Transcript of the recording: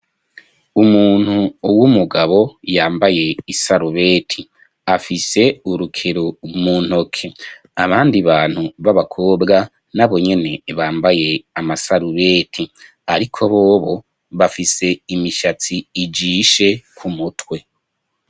Umuntu w'umugabo, yambaye isarubeti afise urukero umuntoke, abandi bantu b'abakobwa nabo nyene bambaye amasarubeti, ariko bobo bafise imishatsi ijishe ku mutwe.